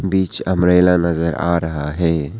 बीच umbrella नजर आ रहा है।